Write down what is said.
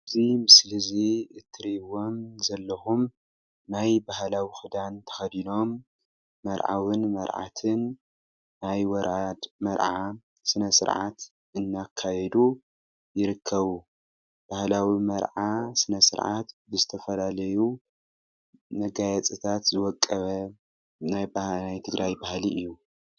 እዚ ምስሊ እዚ እትርእዎም ዘለኹም ናይ ባህላዊ ክዳን ተከዲኖም መርዓውን መርዓትን ናይ ወራድ መርዓ ስነ- ስርዓት እናካየዱ ይርከቡ፡፡ ባህላዊ መርዓ ስነ- ስርዓት ዝተፈላለዩ መጋየፅታት ዝወቀበ ናይ ትግራይ ባህሊ እዩ፡፡